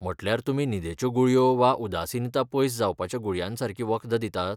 म्हटल्यार तुमी न्हिदेच्यो गुळयो वा उदासीनता पयस जावपाच्या गुळयांसारकीं वखदां दितात?